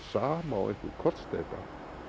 sama og einhver kollsteypa